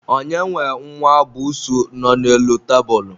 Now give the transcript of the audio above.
onye nwe nwa busuu nọ n'elu tebulu?